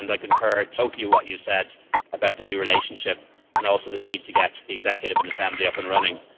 I concur totally with what you said about the new relationship and also the need to get the executive and assembly up and running.